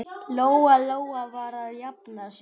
Lóa-Lóa var að jafna sig.